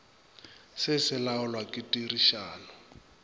se se laolwa ke tirišano